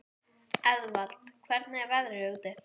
Eðvald, hvernig er veðrið úti?